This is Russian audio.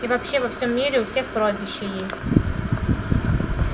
и вообще во всем мире у всех прозвища есть